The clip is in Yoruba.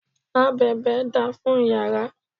Abèbè da fún yàrá.